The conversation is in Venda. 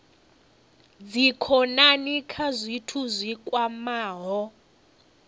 dzikhonani kha zwithu zwi kwamaho